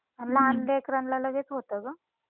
लहान लेकरांना लगेच होत गं.